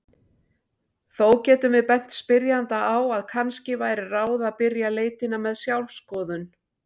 Þó getum við bent spyrjanda á að kannski væri ráð að byrja leitina með sjálfsskoðun.